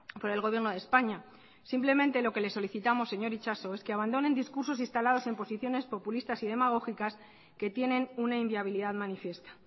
por el gobierno de españa simplemente lo que le solicitamos señor itxaso es que abandonen discursos instalados en posiciones populistas y demagógicas que tienen una inviabilidad manifiesta